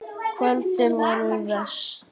Kvöldin voru verst.